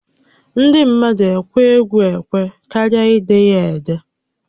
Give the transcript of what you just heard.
Ndị mmadụ ekwe égwú ékwé karịa ide ya édé